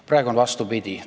Praegu on vastupidi.